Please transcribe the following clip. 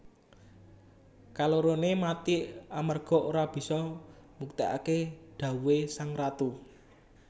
Kaloroné mati amarga ora bisa mbuktèkaké dhawuhé sang ratu